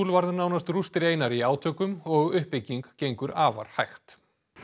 varð nánast rústir einar í átökum og uppbygging gengur afar hægt